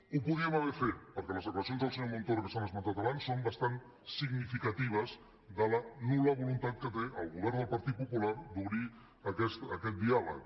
ho podíem haver fet perquè les declaracions del senyor montoro que s’han esmentat abans són bastant significatives de la nul·la voluntat que té el govern del partit popular d’obrir aquest diàleg